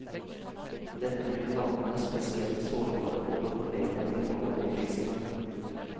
Dette gjør landene spesielt sårbare ovenfor nedgang i råvareprisene.